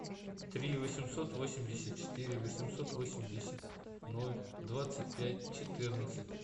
три восемьсот восемьдесят четыре восемьсот восемьдесят ноль двадцать пять четырнадцать